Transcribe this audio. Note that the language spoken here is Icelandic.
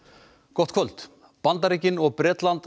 gott kvöld Bandaríkin og Bretland